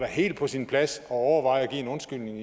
helt på sin plads at overveje at give en undskyldning